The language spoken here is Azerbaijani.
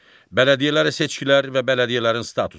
Bələdiyyələrə seçkilər və bələdiyyələrin statusu.